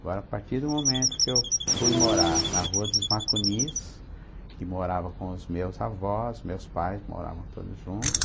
Agora, a partir do momento que eu fui morar na rua dos Macunis, que morava com os meus avós, meus pais moravam todos juntos.